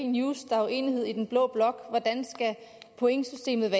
news der er jo enighed i den blå blok om hvordan pointsystemet